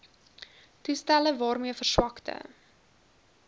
toestelle waarmee verswakte